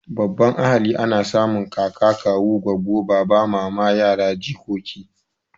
Babban ahali ana samun kaka, kawu, goggo, baba, mama, yara, jikoki